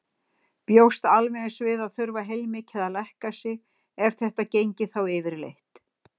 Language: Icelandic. Bjóst alveg eins við að þurfa heilmikið að lækka sig, ef þetta gengi þá yfirleitt.